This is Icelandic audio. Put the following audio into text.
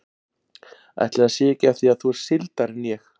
Ætli það sé ekki af því að þú ert sigldari en ég.